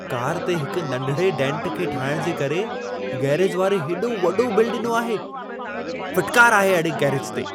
Car ते हिक नंढिड़े डेंट खे ठाहिण जे करे गैरेज वारे हेॾो वॾो बिल ॾिनो आहे। फिटकार आहे अहिड़े गैरेज ते!